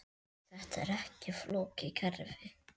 Þetta er ekki flókið kerfi.